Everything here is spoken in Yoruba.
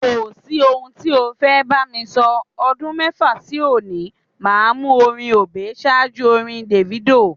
Kò sí ohun tí o fẹ́ bá mi sọ, ọdún mẹ́fà sí òní, màá mú orin Obey ṣáájú orin Davido.